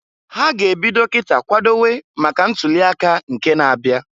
Ha ga -ebido kita kwadowe maka ntuli aka nke na-abia.